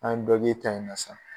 An dɔ k'e ta in na sa